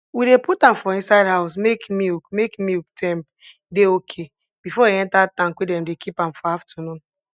we dey put am for inside house make milk make milk temp dey okay before e enter tank wey dem dey keep am for aftanun